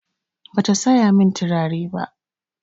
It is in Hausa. Bata saya min turare ba.